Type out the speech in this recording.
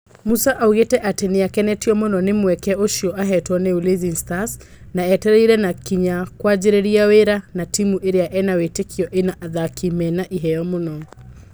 Musa augĩte atĩ nĩakenetio muno nĩ mweke ũcio ahetwo nĩ Ulinzi Stars na etereire na kinyi kũanjĩrĩria wĩra na timu ĩrĩa ena wĩtĩkio ĩna athaki mena iheo mũno